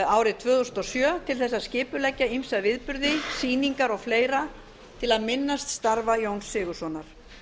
árið tvö þúsund og sjö til þess að skipuleggja ýmsa viðburði sýningar og fleira til að minnast starfa jóns sigurðssonar